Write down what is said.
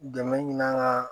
Dɛmɛ ɲini an ka